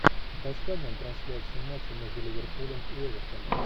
поставь нам трансляцию матча между ливерпулем и эвертоном